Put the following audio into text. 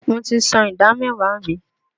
Mo ti san ìdá mẹ́wàá mi.